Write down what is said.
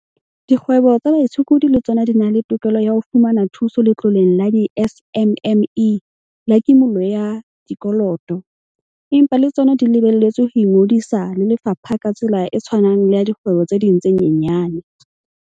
Dikgwebo tsa baitshokodi le tsona di na le tokelo ya ho fumana thuso Letloleng la di-SMME la kimollo ya Dikoloto, empa le tsona di lebelletswe ho ingodisa le lefapha ka tsela e tshwanang le ya dikgwebo tse ding tse nyenyane.